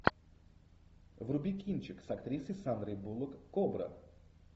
вруби кинчик с актрисой сандрой буллок кобра